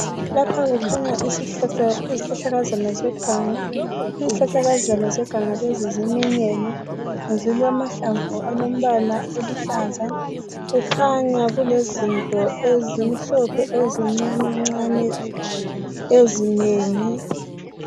Lapha kukhanya izihlahlakazana zeganga izihlahlakazana zeganga lezi ziminyene zilamahlamvu alombala oluhlaza kukhanya kulezinto ezimhlophevezincanencane ezinengi